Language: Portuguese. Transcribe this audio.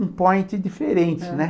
um point diferente, né?